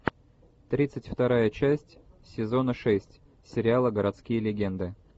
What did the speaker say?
тридцать вторая часть сезона шесть сериала городские легенды